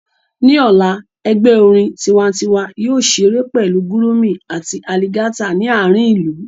Ní ọ̀la, ẹgbẹ́ orin tiwantiwa yóò ṣeré pẹ̀lú gurumi àti aligata ní àárín ìlú